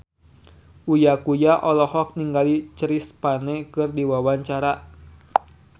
Uya Kuya olohok ningali Chris Pane keur diwawancara